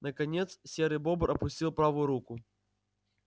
наконец серый бобр опустил правую руку